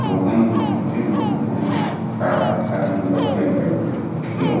लोगन बहुते लोग हैं खाड़ा साथ में बस में बायन खड़े लोग।